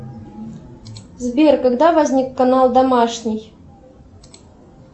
сбер когда возник канал домашний